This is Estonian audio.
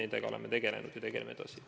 Nendega oleme tegelenud ja tegeleme edasi.